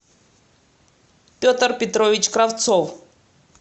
петр петрович кравцов